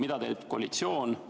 Mida teeb koalitsioon?